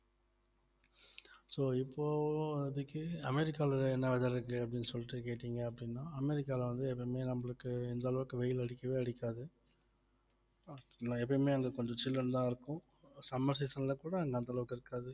so இப்போதைக்கு அமெரிக்கால என்ன weather இருக்கு அப்படின்னு சொல்லிட்டு கேட்டிங்க அப்படின்னா அமெரிக்கால வந்து எப்பவுமே நம்மளுக்கு இந்த அளவுக்கு வெயில் அடிக்கவே அடிக்காது எப்பயுமே அங்க கொஞ்சம் சில்லுனுதான் இருக்கும் summer season ல கூட அங்க அந்த அளவுக்கு இருக்காது